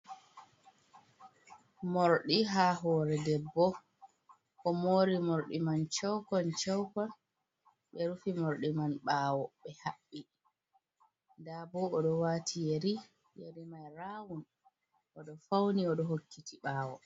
Morɗi ha hore debbo o mori morɗi man shewkon shewkon, be rufi morɗi man ha ɓawo ɓe haɓɓi, nda bo o do wati yeri mai rawun oɗo fauni o ɗo hokkiti ɓawo.